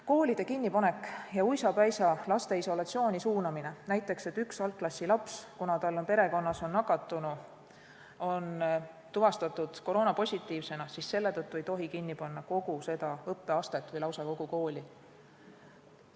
Koolide kinnipanek ja laste uisapäisa isolatsiooni suunamine: kui näiteks üks algklassilaps, kuna tal on perekonnas nakatunu, on tuvastatud koroonapositiivsena, siis selle tõttu ei tohi kinni panna kogu seda õppeastet või lausa kogu kooli.